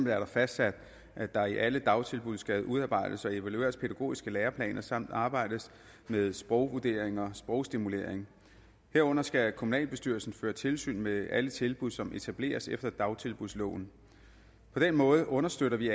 er det fastsat at der i alle dagtilbud skal udarbejdes og evalueres pædagogiske læreplaner samt arbejdes med sprogvurderinger og sprogstimulering herunder skal kommunalbestyrelsen føre tilsyn med alle tilbud som etableres efter dagtilbudsloven på den måde understøtter vi